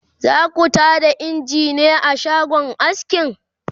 zaku Tada engine a shagon askin?